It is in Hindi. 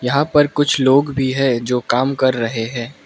यहां पर कुछ लोग भी है जो काम कर रहे हैं।